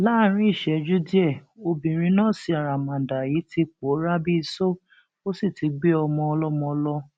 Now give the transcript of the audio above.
láàrín ìṣẹjú díẹ obìnrin nọọsì àràmàǹdà yìí ti pòórá bíi ìṣó ó sì ti gbé ọmọ ọlọmọ lọ